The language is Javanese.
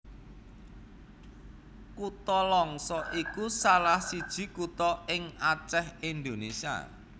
Kutha Langsa iku salah siji kutha ing Acèh Indonésia